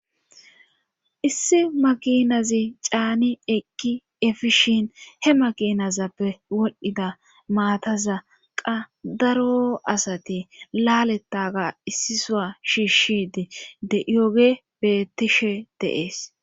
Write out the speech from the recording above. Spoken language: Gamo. issi makinazi caani ekki efishin he makinazappe wolhdhida maataza qa daro asati laaletaga issisoa shiishidi de yoge bettishe deees